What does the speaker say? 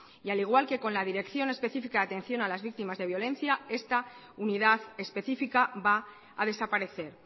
y al igual que con la dirección específica de atención a las víctimas de violencia esta unidad específica va a desaparecer